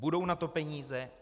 Budou na to peníze?